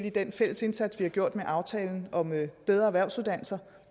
i den fælles indsats vi har gjort med aftalen om bedre erhvervsuddannelser